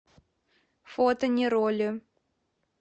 фото нероли